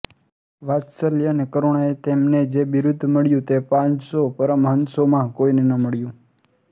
વાત્સલ્ય અને કરુણાએ તેમને જે બિરુદ મળ્યુ તે પાંચસો પરમહંસોમાં કોઈને ન મળ્યુ